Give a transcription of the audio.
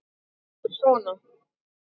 Eru þeir sona?